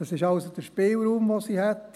dies wäre also der Spielraum, den sie hätten.